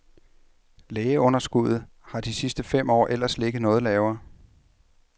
Lægeunderskuddet har de sidste fem år ellers ligget noget lavere.